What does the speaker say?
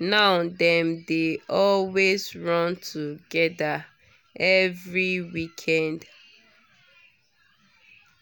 now dem dey always run together every weekend